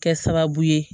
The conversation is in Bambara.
Kɛ sababu ye